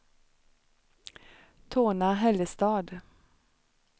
Torna-Hällestad